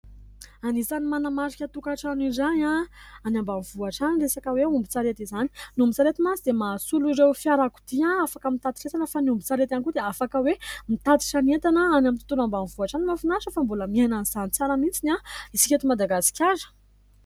Anisany manamarika toka-trano iray any ambanivohitra ny resaka hoe ombi-tsarety izany, ny ombi-tsarety dia mahasolo ireo fiarakodia afaka mitatitra entana fa ny ombi-tsarety ihany koa dia afaka hoe mitatra entana any amin'ny tontolo ambanivohitra mafinaritra fa mbola miainan'izany tsara mihintsy isika eto "Madagasikara".